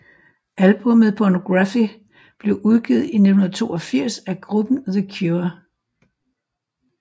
Albummet Pornography blev udgivet i 1982 af gruppen The Cure